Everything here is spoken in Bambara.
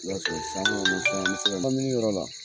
kabini yɔrɔ la.